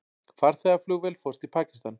Farþegaflugvél fórst í Pakistan